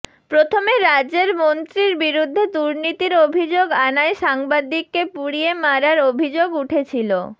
প্রথমে রাজ্যের মন্ত্রীর বিরুদ্ধে দুর্নীতির অভিযোগ আনায় সাংবাদিককে পুড়িয়ে মারার অভিযোগ উঠেছিল